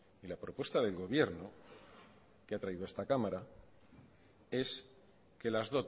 y la propuesta del gobierno que ha traído esta cámara es que las